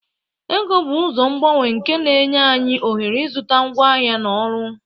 Ego bụ ụzọ ngbanwe nke na-enye anyị ohere ịzụta ngwaahịa na ọrụ.